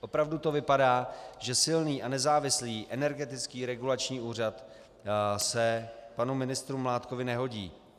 Opravdu to vypadá, že silný a nezávislý Energetický regulační úřad se panu ministru Mládkovi nehodí.